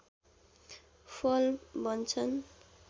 फल भन्छन्